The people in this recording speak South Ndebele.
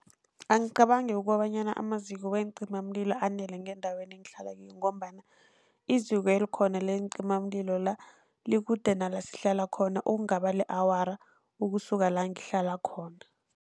Angicabangi ukobanyana amaziko weencimamlilo anele ngendaweni engihlala kiyo, ngombana iziko elikhona leencimamlilo la likude nala sihlala khona, okungaba li-awara ukusuka la ngihlala khona.